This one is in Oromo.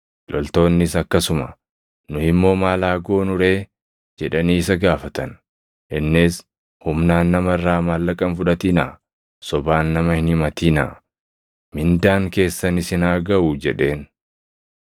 Loltoonnis akkasuma, “Nu immoo maal haa goonu ree?” jedhanii isa gaafatan. Innis, “Humnaan nama irraa maallaqa hin fudhatinaa; sobaan nama hin himatinaa; mindaan keessan isin haa gaʼu” jedheen.